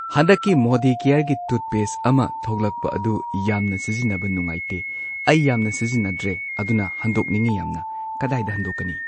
ꯍꯟꯗꯛꯀꯤ ꯃꯣꯗꯤ ꯀ꯭ꯌꯔꯒꯤ ꯇꯨꯠꯄꯦꯁ ꯑꯃ ꯊꯣꯛꯂꯛꯄ ꯑꯗꯨ ꯌꯥꯝꯅ ꯁꯤꯖꯤꯟꯅꯕ ꯅꯨꯉꯥꯏꯇꯦ ꯑꯩ ꯌꯥꯝꯅ ꯁꯤꯖꯤꯟꯅꯗ꯭ꯔꯦ ꯑꯗꯨꯅ ꯍꯟꯗꯣꯛꯅꯤꯡꯉꯤ ꯌꯥꯝꯅ ꯀꯗꯥꯏꯗ ꯍꯟꯗꯣꯛꯀꯅꯤ꯫